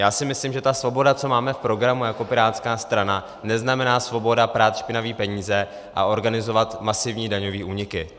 Já si myslím, že ta svoboda, co máme v programu jako pirátská strana, neznamená svobodu prát špinavé peníze a organizovat masivní daňové úniky.